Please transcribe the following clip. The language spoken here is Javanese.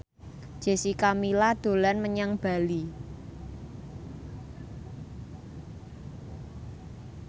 Jessica Milla dolan menyang Bali